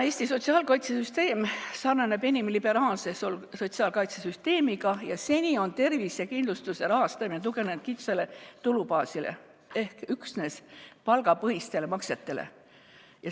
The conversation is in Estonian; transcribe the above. Eesti sotsiaalkaitsesüsteem sarnaneb enim liberaalse sotsiaalkaitsesüsteemiga ja seni on tervisekindlustuse rahastamine tuginenud kitsale tulubaasile ehk üksnes palgapõhistele maksetele.